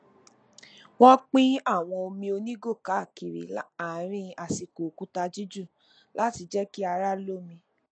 wọ́n pín àwọn omi onígò káàkiri àárín àsìkò òkúta jíjù láti jẹ kí ara lómi